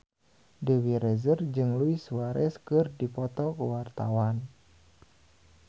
Dewi Rezer jeung Luis Suarez keur dipoto ku wartawan